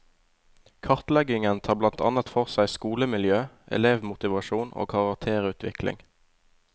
Kartleggingen tar blant annet for seg skolemiljø, elevmotivasjon og karakterutvikling.